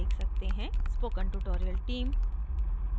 spoken tutorial team: